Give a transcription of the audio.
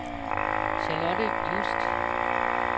Charlotte Just